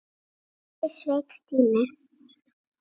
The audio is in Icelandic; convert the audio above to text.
Stebbi sveik Stínu.